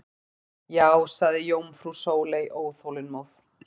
Já sagði jómfrú Sóley óþolinmóð.